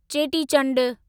Cheti Chand